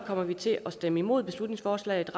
kommer vi til at stemme imod beslutningsforslaget